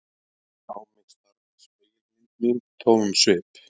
Á mig starði spegilmynd mín tómum svip.